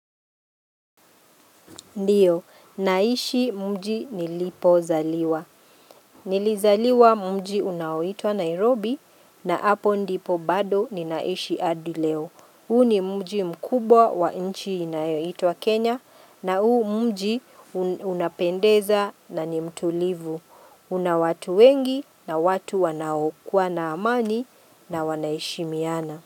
Ndiyo, naishi mji nilipo zaliwa. Nilizaliwa mji unaoitwa Nairobi na hapo ndipo bado ninaishi hAdi leo. Huu ni mji mkubwa wa nchi inayoitwa Kenya na huu mji unapendeza na ni mtulivu. Una watu wengi na watu wanaokua na amani na wanaheshimiana.